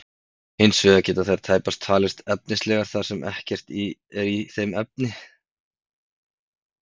Hins vegar geta þær tæpast talist efnislegar þar sem ekkert er í þeim efnið.